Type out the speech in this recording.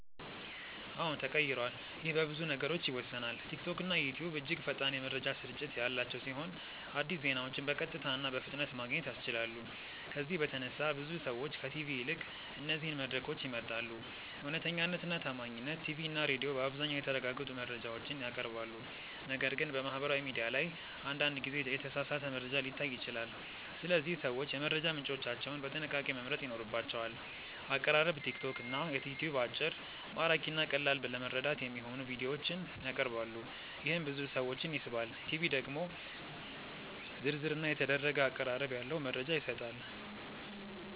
አዎን ተቀይሯል ይህ በብዙ ነገሮች ይወሰናል። ቲክቶክና ዩትዩብ እጅግ ፈጣን የመረጃ ስርጭት ያላቸው ሲሆን አዲስ ዜናዎችን በቀጥታ እና በፍጥነት ማግኘት ያስችላሉ። ከዚህ በተነሳ ብዙ ሰዎች ከቲቪ ይልቅ እነዚህን መድረኮች ይመርጣሉ። እውነተኛነት እና ታማኝነት ቲቪ እና ሬዲዮ በአብዛኛው የተረጋገጡ መረጃዎችን ያቀርባሉ፣ ነገር ግን በማህበራዊ ሚዲያ ላይ አንዳንድ ጊዜ የተሳሳተ መረጃ ሊታይ ይችላል። ስለዚህ ሰዎች የመረጃ ምንጮቻቸውን በጥንቃቄ መምረጥ ይኖርባቸዋል። አቀራረብ ቲክቶክ እና ዩትዩብ አጭር፣ ማራኪ እና ቀላል ለመረዳት የሚሆኑ ቪዲዮዎችን ያቀርባሉ፣ ይህም ብዙ ሰዎችን ይስባል። ቲቪ ደግሞ ዝርዝር እና የተደረገ አቀራረብ ያለው መረጃ ይሰጣል።